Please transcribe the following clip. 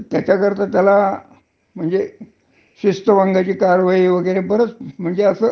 म्हणजे जवळजवळ तुम्हाला, हं. नौकरीतन काढण्याची शक्यता नाहीच. हा.